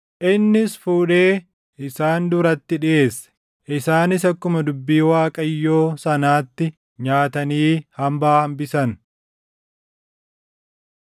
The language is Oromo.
Innis fuudhee isaan duratti dhiʼeesse; isaanis akkuma dubbii Waaqayyoo sanaatti nyaatanii hambaa hambisan.